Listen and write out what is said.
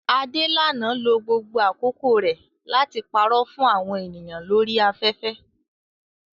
Adelana lo gbogbo àkókò rẹ̀ láti parọ́ fún àwọn ènìyàn lórí afẹ́fẹ́